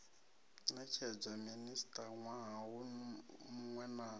netshedzwa minista nwaha munwe na